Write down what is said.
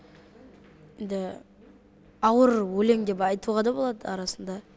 енді ауыр өлең деп айтуға да болады арасында